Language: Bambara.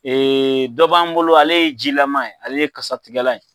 Ee dɔ b'an bolo ale ye jilama ye ale ye kasatigɛlan ye.